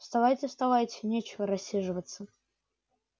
вставайте-вставайте нечего рассиживаться